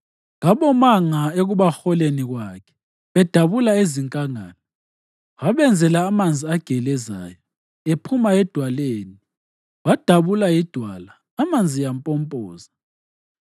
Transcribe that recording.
Kabomanga ekubaholeni kwakhe bedabula ezinkangala; wabenzela amanzi agelezayo ephuma edwaleni, wadabula idwala amanzi ampompoza.